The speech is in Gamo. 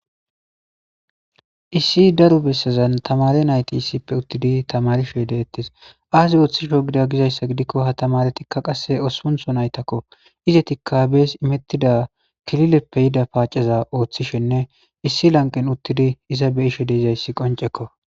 issi daro bessezan tamare nayti issippe uttidi tamarishe de ettes aasi ooththisho gida gizayssa gidikko ha tamaretikka qasse osuntho naytakko izetikka bees imettida kilileppe yida paaceza ooththishenne issi lanqen uttidi iza beishe deizayssi qoncekko